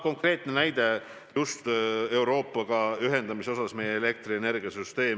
Konkreetne näide just Euroopaga ühendamise kohta on aga meie elektrienergiasüsteem.